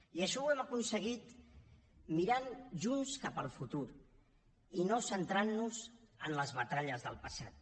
i això ho hem aconseguit mirant junts cap al futur i no centrant nos en les batalles del passat